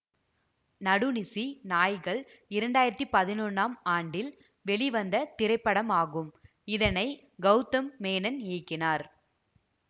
நடுநிசி நாய்கள் இரண்டாயிரத்தி பதினொன்னாம் ஆண்டில் வெளிவந்த திரைப்படமாகும் இதனை கௌதம் மேனன் இயக்கினார்